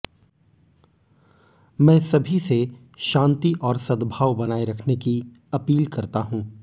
मैं सभी से शांति और सद्भाव बनाए रखने की अपील करता हूं